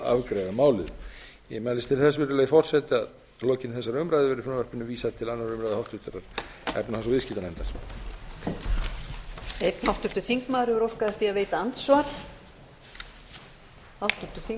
afgreiða málið ég mælist til þess virðulegi forseti að að lokinni þessari umræðu verði frumvarpinu vísað til annarrar umræðu og háttvirtrar efnahags og viðskiptanefndar